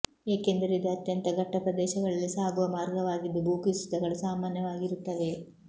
ಏಕೆಂದರೆ ಇದು ಅತ್ಯಂತ ಘಟ್ಟ ಪ್ರದೇಶಗಳಲ್ಲಿ ಸಾಗುವ ಮಾರ್ಗವಾಗಿದ್ದು ಭೂಕುಸಿತಗಳು ಸಾಮಾನ್ಯವಾಗಿರುತ್ತವೆ